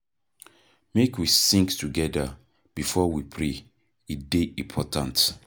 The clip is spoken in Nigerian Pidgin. Make we sing togeda before we pray, e dey important.